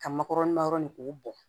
Ka makɔrɔni ma yɔrɔ nin k'u bɔ